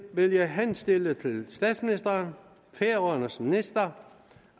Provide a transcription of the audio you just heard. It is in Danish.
vil jeg henstille til statsministeren færøernes minister